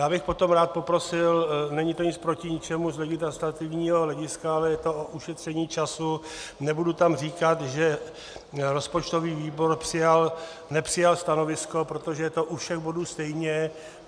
Já bych potom rád poprosil, není to nic proti ničemu z legislativního hlediska, ale je to o ušetření času, nebudu tam říkat, že rozpočtový výbor přijal - nepřijal stanovisko, protože je to u všech bodů stejně.